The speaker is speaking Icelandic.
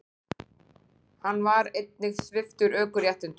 Hann var einnig sviptur ökuréttindum ævilangt